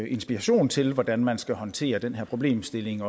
inspiration til hvordan man skal håndtere den her problemstilling